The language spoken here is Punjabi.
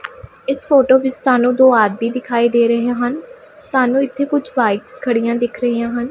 ਇਸ ਫੋਟੋ ਵਿੱਚ ਸਾਨੂੰ ਦੋ ਆਦਮੀ ਦਿਖਾਈ ਦੇ ਰਹੇ ਹਨ ਸਾਨੂੰ ਇੱਥੇ ਕੁਝ ਬਾਈਕ ਖੜੀਆਂ ਦਿਖ ਰਹੀਆਂ ਹਨ।